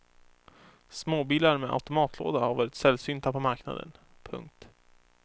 Småbilar med automatlåda har varit sällsynta på marknaden. punkt